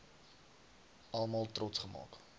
almal trots gemaak